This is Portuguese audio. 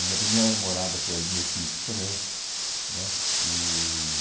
A minha primeira namorada foi ali no equipe também, né? E